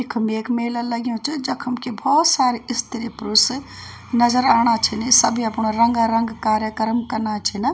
इखम एक मेला लग्युं च जखम कि भौत सारी स्त्री पुरुष नजर आणा छिनी सबी अपणा रंगा रंग कार्यक्रम कना छिना।